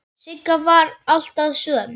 Sigga var alltaf söm.